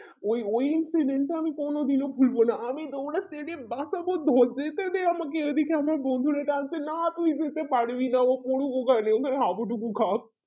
ওই ওই টা আমি কোনোদিন ভুলবো না আমি দৌড়া বাঁচাবো ধর যেতেদে আমাকে এদিকে আমাকে আমার বন্ধুরা টানছে না তুই যেতে পারবি না ও পড়ুক ওখানে ওখানে হবু ডুবু খাক